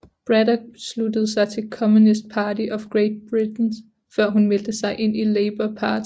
Braddock sluttede sig til Communist Party of Great Britain før hun meldte sig ind i Labour Party